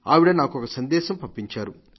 ఆవిడ నాకొక సందేశం పంపించారు